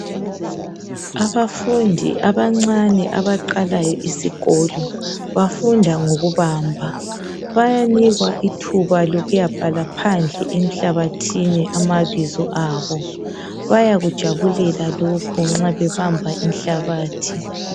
Abafundi abancane abaqalayo isikolo bafunda ngokubamba bayanikwa ithuba lokuyabhala phandle emhlabathithini amabizo abo bayakujabulela lokhu nxa bebamba inhlabathi.